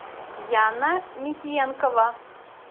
яна михеенкова